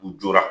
U jɔra